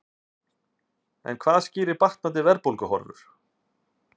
En hvað skýrir batnandi verðbólguhorfur?